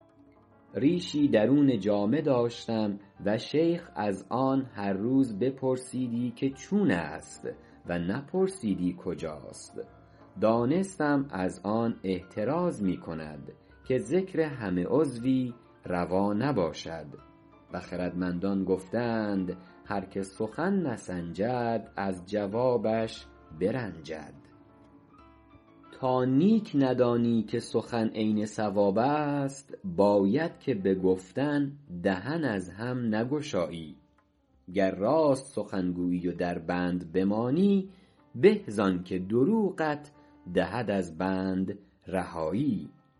ریشی درون جامه داشتم و شیخ از آن هر روز بپرسیدی که چون است و نپرسیدی کجاست دانستم از آن احتراز می کند که ذکر همه عضوی روا نباشد و خردمندان گفته اند هر که سخن نسنجد از جوابش برنجد تا نیک ندانی که سخن عین صواب است باید که به گفتن دهن از هم نگشایی گر راست سخن گویی و در بند بمانی به زآن که دروغت دهد از بند رهایی